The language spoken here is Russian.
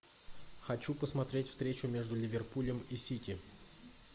хочу посмотреть встречу между ливерпулем и сити